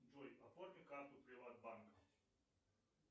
джой оформи карту приватбанка